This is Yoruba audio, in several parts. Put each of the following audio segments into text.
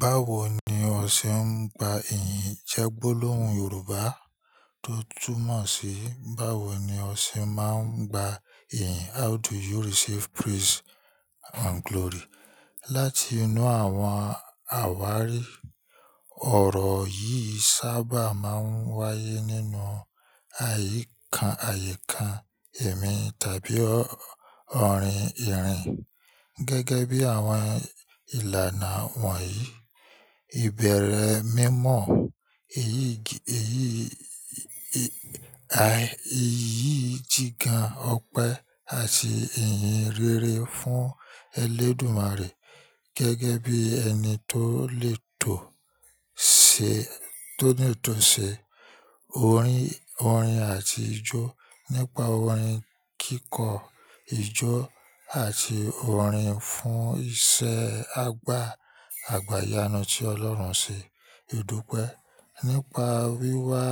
Báwo ni ọ ṣe ń gba ìyìn? Jẹ́ gbólóhùn Yorùbá tó túmọ̀ sí báwo ni ọ ṣe máa ń gba ìyìn. How do you receive praise and glory láti inú àwọn àwárí? Ọ̀rọ̀ yìí sábà máa ń wáyé nínú àyíká, ẹ̀mí tàbí ọ̀rìn ìrìn. Gẹ́gẹ́ bí àwọn ìlànà wọ̀nyí, ìbẹ̀rẹ̀ mímọ̀, ìyí jigan ọpẹ́ àti ìyìnrere fún ẹlẹ́dùmarè. Gẹ́gẹ́ bí ẹni tó lè tò ṣe, tó ní ìtọ̀sẹ̀, orin àti ijó. Nípa orin kíkọ, ijó àti orin fún iṣẹ́ àgbà, àgbá iyanu tí Ọlọ́run ṣe. Ìdúpẹ́ nípa wíwá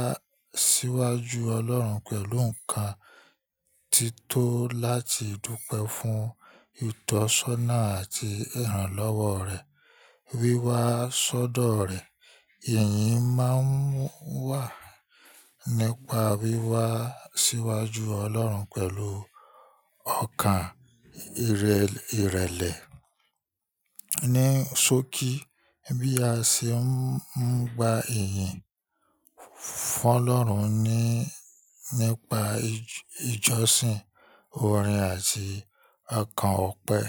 síwájú Ọlọ́run pẹ̀lú nǹkan tí tó láti dúpẹ́ fún ìtọ́sọ́nà àti ìrànlọ́wọ́ rẹ̀, wíwá sọ́dọ̀ rẹ̀. Ìyìn máa ń wà nípa wíwá síwájú Ọlọ́run pẹ̀lú ọkàn ìrẹlẹ̀. Ni sókí bí a ṣe ń gba ìyìn fún Ọlọ́run nípa ìjọsìn, orin àti ọkàn ọpẹ́.